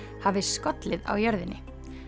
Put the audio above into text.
hafi skollið á jörðinni